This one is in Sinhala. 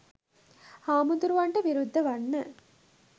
හාමුදුරුවන්ට විරුද්ධ වන්න